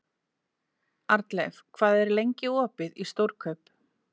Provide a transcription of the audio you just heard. Arnleif, hvað er lengi opið í Stórkaup?